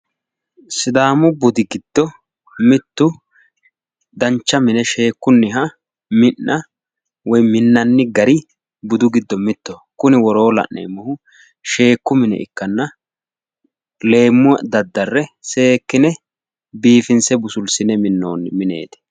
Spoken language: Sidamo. Sidaamu budi giddo mittu dancha mine sheekkunniha mi'na woyi minnanni gari mittoho kuni woroo la'neemmohu sheekku mine ikkanna leemma daddarre seekkine biifinse busulsine minnoonni mineeti.